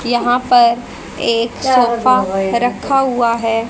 यहां पर एक रखा हुआ है।